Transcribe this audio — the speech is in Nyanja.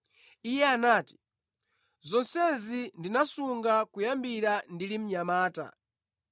Iye anati, “Zonsezi ndinasunga kuyambira ndili mnyamata.”